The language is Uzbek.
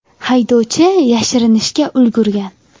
Haydovchi yashirinishga ulgurgan.